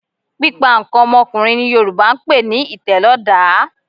Pípa nǹkan ọmọkùnrin ni Yorùbá ń pe ní ìtẹ̀lọ́dàá